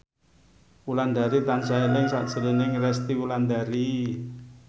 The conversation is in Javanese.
Wulandari tansah eling sakjroning Resty Wulandari